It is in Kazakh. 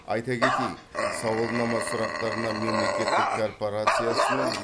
айта кетейік сауалнама сұрақтарына мемлекеттік корпорациясының